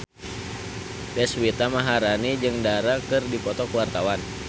Deswita Maharani jeung Dara keur dipoto ku wartawan